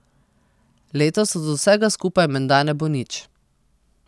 Letos od vsega skupaj menda ne bo nič.